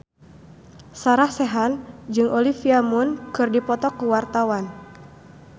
Sarah Sechan jeung Olivia Munn keur dipoto ku wartawan